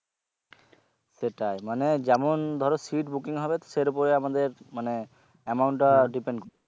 সেটাই মানে যেমন ধরো seat booking হবে তো সের উপরে আমাদের মানে amount টা depend